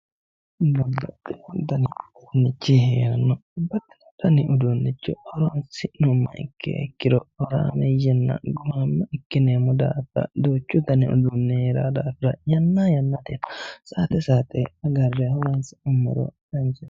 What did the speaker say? Babbabxxino dani uduunnichi heeranno babbaxxino dani uduunnicho horonsi'nummo ikki ikkiro horameeyyeenna gumaamma ikkineemmo daafira yanna yannate saate saateagarre horonsi'nummoro danchaho